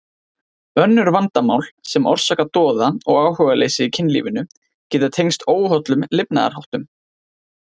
Önnur vandamál sem orsaka doða og áhugaleysi í kynlífinu geta tengst óhollum lifnaðarháttum.